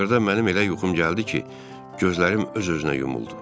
Axırda mənim elə yuxum gəldi ki, gözlərim öz-özünə yumuldu.